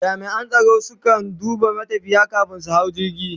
jami'an tsaro su kan duba matafiyi kamin su hau jirgi